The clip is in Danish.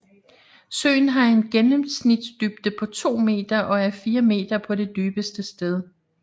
Søen har en gennemsnitsdybde på 2 m og er 4 m på det dybeste sted